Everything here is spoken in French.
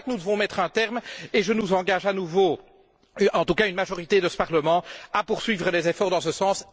C'est à cela que nous devons mettre un terme et je nous engage à nouveau, en tout cas une majorité de ce Parlement, à poursuivre les efforts dans ce sens.